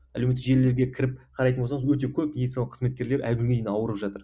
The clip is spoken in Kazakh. әлеуметтік желілерге кіріп қарайтын болсаңыз өте көп медициналық қызметкерлер әлі күнге дейін ауырып жатыр